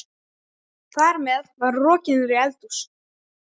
Þar með er hún rokin niður í eldhús.